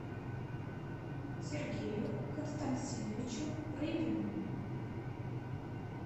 сергею константиновичу рыбину